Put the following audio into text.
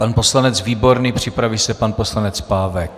Pan poslanec Výborný, připraví se pan poslanec Pávek.